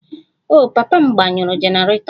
Oh, papa m gbanyụrụ generator